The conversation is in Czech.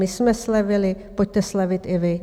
My jsme slevili, pojďte slevit i vy.